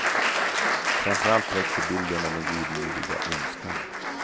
Framför allt växer bilden av den godmodiga ondskan.